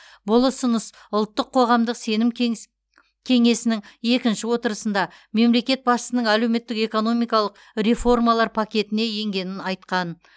бұл ұсыныс ұлттық қоғамдық сенім кеңсі кеңесінің екінші отырысында мемлекет басшысының әлеуметтік экономикалық реформалар пакетіне енгенін айтқан